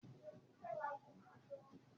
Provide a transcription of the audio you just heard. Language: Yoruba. ma ṣe dúró nínú ọkọ̀ òfurufú!